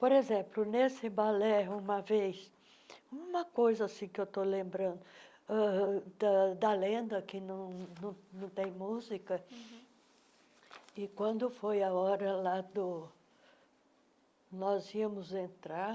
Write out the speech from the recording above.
Por exemplo, nesse balé, uma vez, uma coisa assim que estou lembrando, uh da da lenda que não tem música uhm, e quando foi a hora lá do nós íamos entrar,